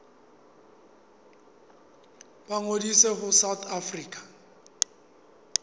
ba ngodise ho south african